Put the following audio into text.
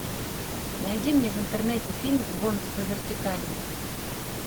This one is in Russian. найди мне в интернете фильм гонки по вертикали